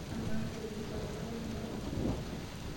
Amaa, indim aiutukuore enkare nairobi?